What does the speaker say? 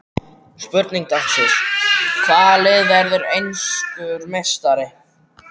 Spurning dagsins: Hvaða lið verður enskur meistari?